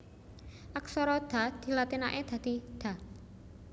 Aksara Da dilatinaké dadi Da